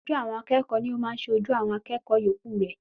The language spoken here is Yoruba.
Aṣojú àwọn akẹ́kọ̀ọ́ ni o máa ń ṣe ojú awon akẹ́kọ̀ọ́ yòókù rẹ.